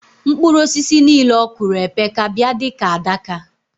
Mkpụru osisi nile okụro epeka bia dika adaka